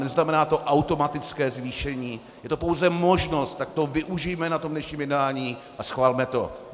Neznamená to automatické zvýšení, je to pouze možnost, tak toho využijme na tom dnešním jednání a schvalme to!